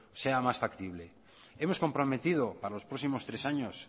sea más factible hemos comprometido para los próximos tres años